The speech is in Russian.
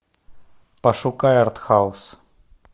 пошукай артхаус